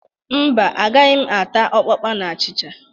Mba, agaghị m ata ọpapa na achịcha.